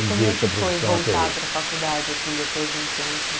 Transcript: E como é que foi voltar para a faculdade, assim, depois de um tempo?